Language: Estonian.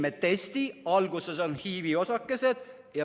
Tehti test, alguses olid HIV-i osakesed.